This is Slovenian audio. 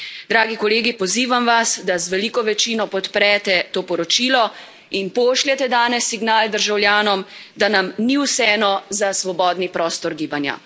Dragi kolegi, pozivam vas, da z veliko večino podprete to poročilo in pošljete danes signal državljanom, da nam ni vseeno za svobodni prostor gibanja.